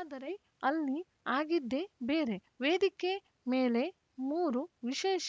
ಆದರೆ ಅಲ್ಲಿ ಆಗಿದ್ದೇ ಬೇರೆ ವೇದಿಕೆ ಮೇಲೆ ಮೂರು ವಿಶೇಷ